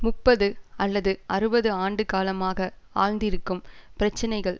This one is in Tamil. முப்பது அல்லது அறுபது ஆண்டு காலமாக ஆழ்ந்திருக்கும் பிரச்சினைகள்